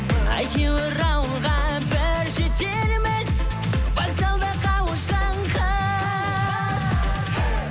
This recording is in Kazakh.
әйтеуір ауылға бір жетерміз вокзалда қауышқан қыз